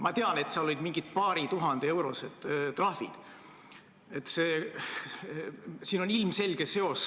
Ma tean, et need olid mõne tuhande euro suurused trahvid.